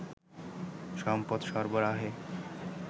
সম্পদ সরবরাহে